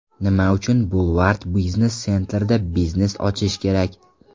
Nima uchun Boulevard Business Center’da biznes ochish kerak?.